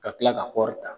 Ka kila ka kɔri ta